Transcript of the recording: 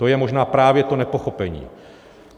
To je možná právě to nepochopení.